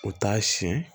U t'a siyɛn